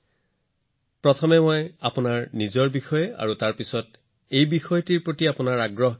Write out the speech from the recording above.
গতিকে প্ৰথমে মই আপোনাৰ বিষয়ে জানিব বিচাৰো আৰু পিছত মোক কব যে আপুনি এই বিষয়টোত কেনেদৰে আগ্ৰহী